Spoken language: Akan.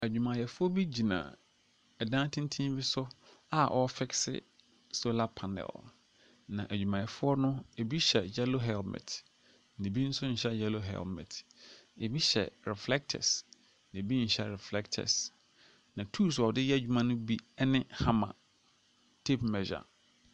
Adwumayɛfoɔ bi gyina dan tenten bi so a wɔrefixe solar panel. Na adwumayɛfoɔ no, ɛbi hyɛ yellow helmet, na ɛbi nso nhyɛ yellow helmet. Ɛbi hyɛ reflectors, na ɛbi nso nyɛ reflectors. Na toos a wɔde reya adwuma no bi ne hammar, tape measure.